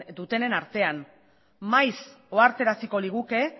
dutenen artean maiz ohartaraziko liguke